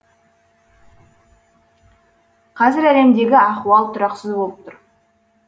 қазір әлемдегі ахуал тұрақсыз болып тұр